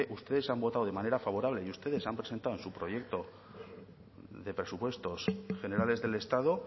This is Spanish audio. ustedes han votado de manera favorable y ustedes han presentado en su proyecto de presupuestos generales del estado